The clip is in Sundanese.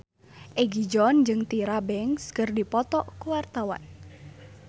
Egi John jeung Tyra Banks keur dipoto ku wartawan